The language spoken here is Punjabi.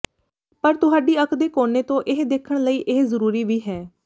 ਪਰ ਤੁਹਾਡੀ ਅੱਖ ਦੇ ਕੋਨੇ ਤੋਂ ਇਹ ਦੇਖਣ ਲਈ ਇਹ ਜ਼ਰੂਰੀ ਵੀ ਹੈ